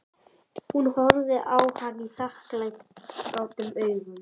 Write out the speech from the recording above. Hún horfði á hann þakklátum augum.